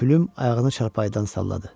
Pülüm ayağını çarpayıdan salladı.